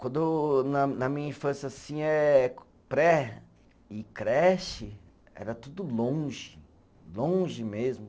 Quando na na minha infância, assim é, pré e creche, era tudo longe, longe mesmo.